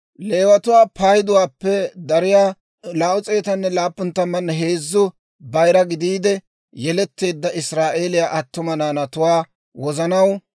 Leewatuwaa payduwaappe dariyaa 273 bayira gidiide yeletteedda Israa'eeliyaa attuma naanatuwaa wozanaw,